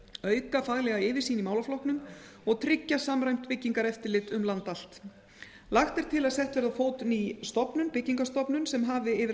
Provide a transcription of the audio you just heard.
auka faglega yfirsýn í málaflokknum og tryggja samræmt byggingareftirlit um land allt lagt er til að sett verði á fót ný stofnun byggingarstofnun sem hafi yfir að